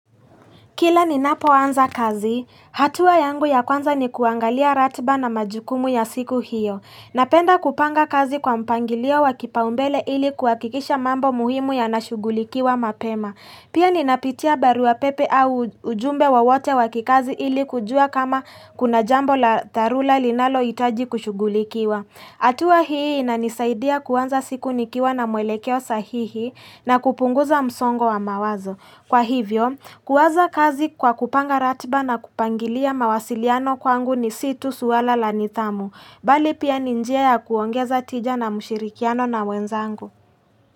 Kila ninapo anza kazi, hatua yangu ya kwanza ni kuangalia ratiba na majukumu ya siku hiyo. Napenda kupanga kazi kwa mpangilio wa kipaumbele ili kuhakikisha mambo muhimu yanashughulikiwa mapema. Pia ni napitia baru wa pepe au ujumbe wowote wakikazi ili kujua kama kuna jambo la tharula linalohitaji kushugulikiwa. Hatua hii na nisaidia kuanza siku nikiwa na mwelekeo sahihi na kupunguza msongo wa mawazo. Kwa hivyo, kuwaza kazi kwa kupanga ratiba na kupangilia mawasiliano kwangu ni si tu swala la nidhamu, bali pia ni njia ya kuongeza tija na mshirikiano na wenzangu.